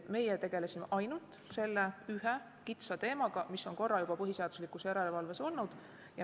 Meie tegelesime ainult selle ühe kitsa teemaga, mis on korra juba põhiseaduslikkuse järelevalve menetluses olnud.